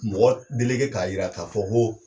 Mɔgɔ k'a yira k'a fɔ ko